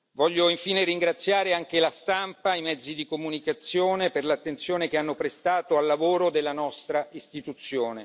Voglio infine ringraziare la stampa e i mezzi di comunicazione per l'attenzione che hanno prestato al lavoro della nostra Istituzione.